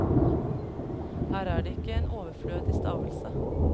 Her er det ikke en overflødig stavelse.